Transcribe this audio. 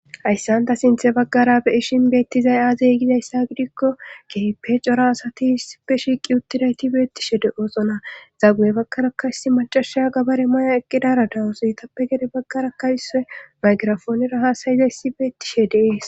hayssan ta sinthe baggara be ishin beettizay aazeygizayssa gidikko keepe cora asati iisipe shiiqi uttidayti beettishe de oosona zaguye baggara kaysi macashaya gabare maya eqqidara dawusoy tappe gede baggara kaysoe maygirafoonera haasayizayssi beettishe dees